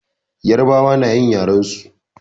Yarbawa nayin yaren su.